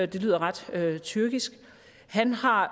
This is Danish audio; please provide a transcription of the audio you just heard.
det lyder ret tyrkisk han har